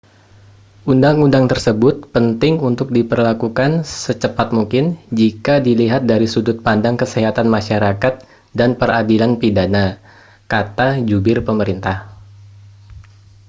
"uu tersebut penting untuk diberlakukan secepat mungkin jika dilihat dari sudut pandang kesehatan masyarakat dan peradilan pidana, kata jubir pemerintah.